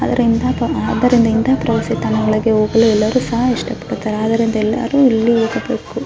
ಅದರಿಂದ ಅದರಿಂದ ಪ್ರವಾಸಿ ಸ್ಥಳಗಳಿಗೆ ಹೋಗಲು ಎಲ್ಲರೂ ಸಹ ಇಷ್ಟ ಪಡುತ್ತಾರೆ ಅದರಿಂದ ಎಲ್ಲರೂ ಇಲ್ಲಿಗೆ ಹೋಗಬೇಕು --